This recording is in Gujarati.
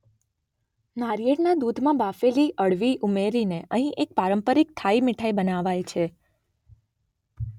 નારિયેળના દૂધમાં બાફેલી અળવી ઉમેરીને અહીં એક પારંપરિક થાઈ મીઠાઈ બનાવાય છે.